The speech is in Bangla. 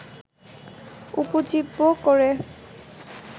উপজীব্য করে